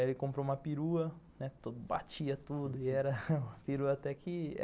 Ele comprou uma perua, né, batia tudo. A perua até que